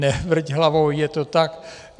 Nevrť hlavou, je to tak.